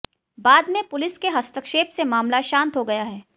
बाद में पुलिस के हस्तक्षेप से मामला शांत हो गया है